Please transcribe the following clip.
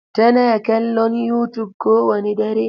Tana kallon youtube kowane dare.